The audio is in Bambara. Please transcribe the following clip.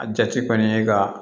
A jate kɔni ye ka